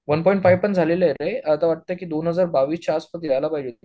one point five पण झालेलेय रे आत्ता वाटतंय की दोन हजार बावीस च्या आत मध्ये यायला पाहिजे